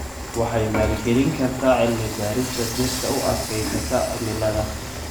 Waxay maalgelin kartaa cilmi-baarista dhirta u adkaysata cimilada.